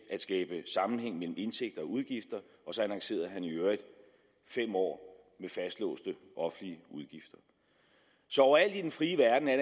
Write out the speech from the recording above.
skabe sammenhæng mellem indtægter og udgifter og så lancerede han i øvrigt fem år med fastlåste offentlige udgifter så overalt i den frie verden er